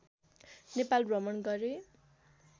नेपाल भ्रमण गरे